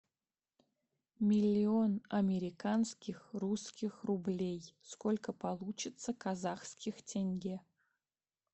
миллион американских русских рублей сколько получится казахских тенге